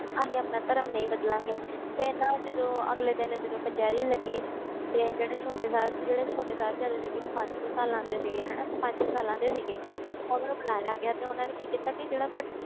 ਅਸੀਂ ਆਪਣਾ ਧਰਮ ਨਹੀਂ ਬਦਲਾਂਗੇ ਫਿਰ ਨਾ ਜਦੋਂ ਅਗਲੇ ਦਿਨ ਜਦੋਂ ਕਚਿਹਰੀ ਲੱਗੀ ਤੇ ਜਿਹੜੇ ਛੋਟੇ ਸਾਹਿਬ~ ਜਿਹੜੇ ਛੋਟੇ ਸਾਹਿਬਜ਼ਾਦੇ ਸੀਗੇ ਉਹ ਪੰਜ ਕੁ ਸਾਲਾਂ ਦੇ ਸੀਗੇ ਹਨਾ ਪੰਜ ਸਾਲਾਂ ਦੇ ਸੀਗੇ ਉਹਨਾਂ ਨੂੰ ਬੁਲਾਇਆ ਗਿਆ ਤੇ ਉਹਨਾਂ ਨੇ ਕੀ ਕੀਤਾ ਕਿ ਜਿਹੜਾ ਵੱ~